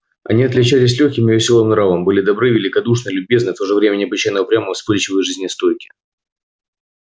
они отличались лёгким и весёлым нравом были добры великодушны любезны и в то же время необычайно упрямы вспыльчивы и жизнестойки